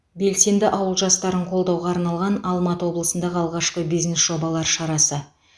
белсенді ауыл жастарын қолдауға арналған алматы облысындағы алғашқы бизнес жобалар шарасы